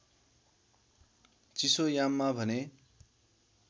चिसोयाममा भने